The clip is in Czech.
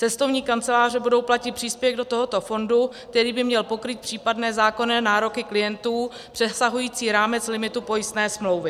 Cestovní kanceláře budou platit příspěvek do tohoto fondu, který by měl pokrýt případné zákonné nároky klientů přesahující rámec limitu pojistné smlouvy.